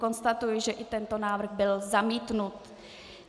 Konstatuji, že i tento návrh byl zamítnut.